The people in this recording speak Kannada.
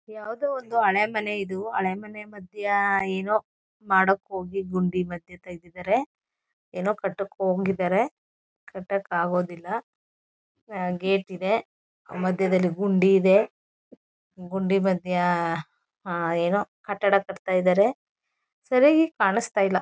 ಯಾವುದೊ ಒಂದು ಹಳೆ ಮನೆ ಇದು ಹಳೆ ಮನೆ ಮಧ್ಯ ಏನೋ ಮಾಡಕ್ಕೋಗಿ ಗುಂಡಿ ಮದ್ಯೆ ತೆಗೆದಿದ್ದಾರೆ. ಏನೋ ಕಟ್ಟಕ್ಕೆ ಹೋಗೋ ಹಂಗಿದ್ದಾರೆ ಕಟ್ಟಕ್ಕೆ ಆಗೋದಿಲ್ಲ. ಆ ಗೇಟ್ ಇದೆ ಮಧ್ಯದಲ್ಲಿ ಗುಂಡಿ ಇದೆ ಗುಂಡಿ ಮಧ್ಯ ಆ ಏನೋ ಕಟ್ಟಡ ಕಟ್ತಾ ಇದ್ದಾರೆ ಸರಿಯಾಗಿ ಕಾಣಿಸ್ತಾ ಇಲ್ಲ.